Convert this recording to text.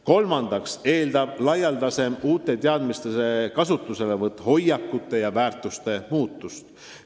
Kolmandaks eeldab laialdasem uute teadmiste kasutuselevõtt hoiakute ja väärtushinnangute muutust.